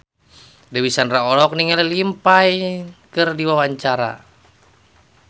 Dewi Sandra olohok ningali Liam Payne keur diwawancara